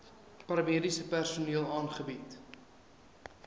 paramediese personeel aangebied